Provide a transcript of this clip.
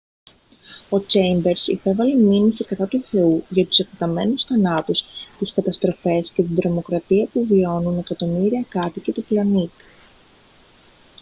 ο τσέιμπερς υπέβαλε μήνυση κατά του θεού για «τους εκτεταμένους θανάτους τις καταστροφές και την τρομοκρατία που βιώνουν εκατομμύρια κάτοικοι του πλανήτη»